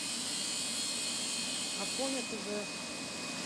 афоня тв